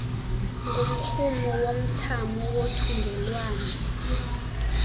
ngumrhumo womthamo wothungelwano